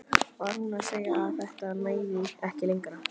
Var hún að segja að þetta næði ekki lengra?